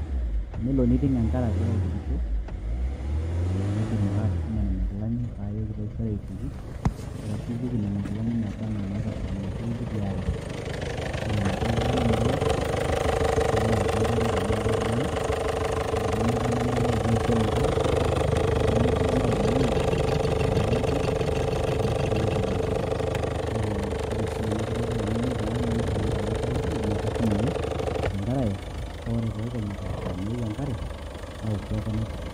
Enelo niiting' enkare agira aitukisho, na kaidim ake atushuma nena kilani payooki taisere aituku. Arashu aituku nena kilani baba enaa inaitosha enaduo kiti aare. Ore naduo kulie nalo, nalo auku enkare tenaa ketaana. Ore pemetaana naing'oru taisere enkare. Ore pemetii naomonu to olelatia, pashukoki ake badae. Kake ore si nena kulie kilani neitu na etaa atala enkare, na kashum ake tenkarae, pa ore pekenyu esaa naewuo enkare, naoku ake naituku.